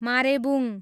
मारेबुङ